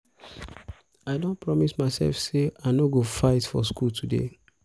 i don promise myself say i no go fight for school today